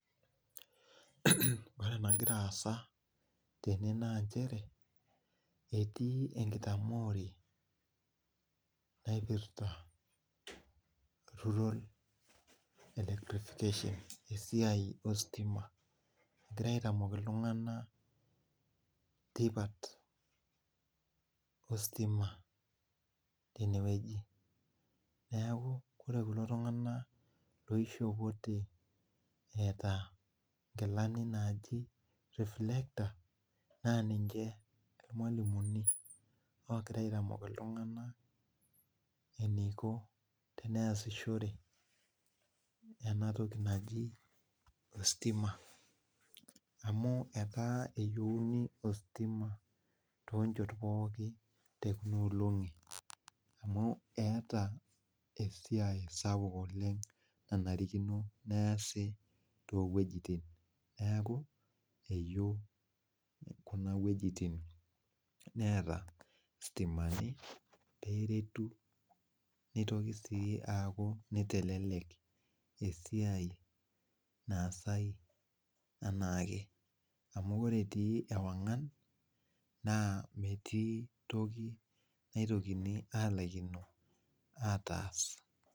Ore enagira aasa tene naa nchere etii enkitamoore naipirta rural electrification, esiai ostima. Egirai aitamok iltung'anak tipat ostima tenewueji. Neeku ore kulo tung'anak loishopote eeta nkilani naaji reflector naa ninche irmwalimuni ogira aitamok iltung'anak eneiko teneesishore ena toki naji ostima amu etaa eyieuni ostima toonchot pookin tekuna olong'i amu eeta esiai sapuk oleng nanarikino neesi too wuejitin neeku eyieu kuna wuejitin neeta stimani peeretu neitoki sii aaku nitelelek esiai naasai enaake. Amu ore etii ewang'an naa metii toki naitokini aalaikino ataas